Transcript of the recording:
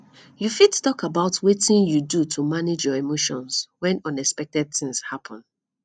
you fit talk about wetin you do to manage your emotions when unexpected things happen